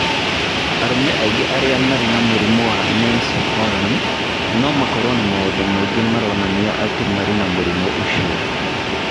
Arũme aingĩ arĩa marĩ na mũrimũ wa Nance Horan, no makorũo na maũndũ mangĩ maronania atĩ marĩ na mũrimũ ũcio.